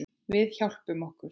Við hjálpum okkur.